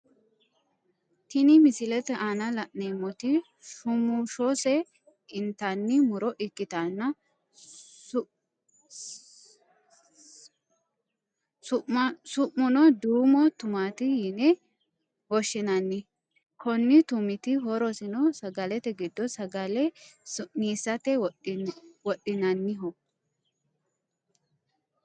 Tini misilete aanna la'neemoti shumushose intanni muro ikitanna si'muno duumo tumaati yine woshinnanni konni tumiti horosino sagalete gido sagale su'niisate wodinnanniho